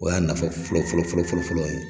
O y'a nafa fɔlɔ fɔlɔ fɔlɔ fɔlɔ fɔlɔ ye.